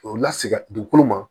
K'o lasigi o ma